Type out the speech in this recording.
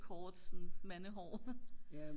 kort sådan mandehår